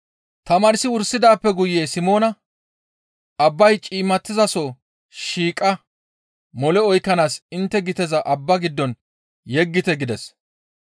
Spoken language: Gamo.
Tamaarsi wursidaappe guye Simoona, «Abbay ciimmatizaso shiiqa mole oykkanaas intte giteza abba giddo yeggite» gides.